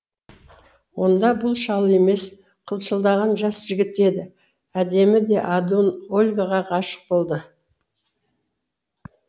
онда бұл шал емес қылшылдаған жас жігіт еді әдемі де адуын ольгаға ғашық болды